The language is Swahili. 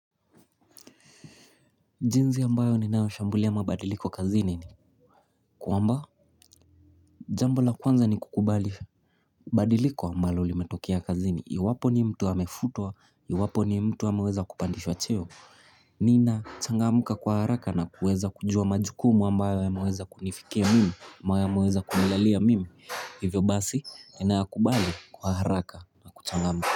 Jinzi ambayo ni nao shambulia mabadiliko kazini ni Kuwamba jambo la kwanza ni kukubali Badiliko ambayo limetokia kazini ya iwapo ni mtu hamefutua ya wapo ni mtu hamaweza kupandishwa cheo Nina changamuka kwa haraka na kuweza kujua majukumu ambayo ya maweza kunifike mimi maweza kunilalia mimi Hivyo basi ni naa kubali kwa haraka na kuchangamuka.